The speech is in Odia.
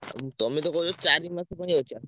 ଆଉ ତମେତ କହୁଛ ଚାରି ମାସ ପାଇଁ ଅଛ।